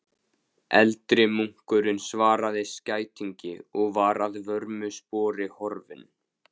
Eldri munkurinn svaraði skætingi og var að vörmu spori horfinn.